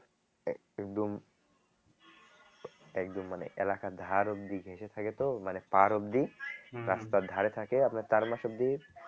একএকদম একদম মানে এলাকার ধার অব্দি ঘেসে থাকে তো মানে পার অব্দি রাস্তার ধরে থাকে আপনার চার মাস অব্দি